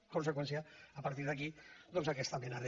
en conseqüència a partir d’aquí doncs aquesta mena de